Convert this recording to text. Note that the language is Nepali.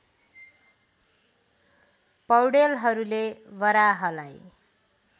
पौडेलहरूले बराहलाई